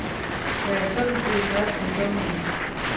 Jeg er sådan set ret ungdommelig endnu.